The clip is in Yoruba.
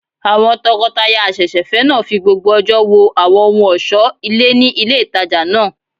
Àwọn tọkọtaya àsẹ̀sẹ̀fẹ́ náà fi gbogbo ọjọ́ wo àwọn ohun ọ̀sọ́ ilé ní ilé ìtajà náà